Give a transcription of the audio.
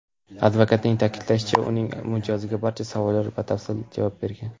Advokatning ta’kidlashicha, uning mijozi barcha savollarga batafsil javob bergan.